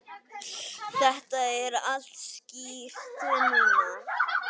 Þetta er allt skýrt núna.